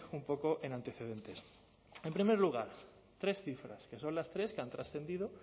un poco en antecedentes en primer lugar tres cifras que son las tres que han trascendido